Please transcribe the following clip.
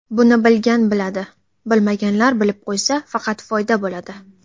Buni bilgan biladi, bilmaganlar bilib qo‘ysa, faqat foyda bo‘ladi.